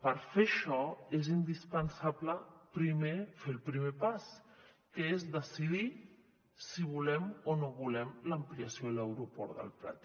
per fer això és indispensable primer fer el primer pas que és decidir si volem o no volem l’ampliació de l’aeroport del prat